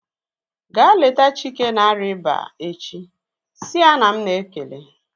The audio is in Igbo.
Ga leta Chike na-arịa ịba echi! Si ya na m na-ekele